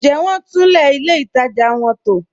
Ǹ jẹ wọn túnlẹ̀ ilẹ̀ ìtaja wọn tó?